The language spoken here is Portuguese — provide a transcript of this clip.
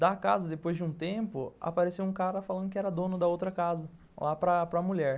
Da casa, depois de um tempo, apareceu um cara falando que era dono da outra casa, lá para para mulher.